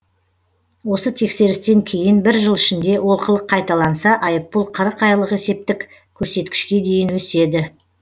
осы тексерістен кейін бір жыл ішінде олқылық қайталанса айыппұл қырық айлық есептік көрсеткішке дейін өседі